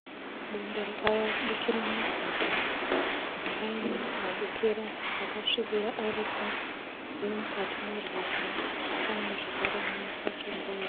Bundo rakabukira murwizi. Paine mabukira akasvibira aripo ririmukati merwizi paine zvekare nematombo ayo.